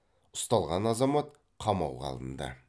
ұсталған азамат қамауға алынды